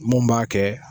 Mun b'a kɛ